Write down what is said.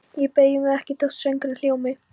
Ég beygi mig ekki þótt söngurinn hljómi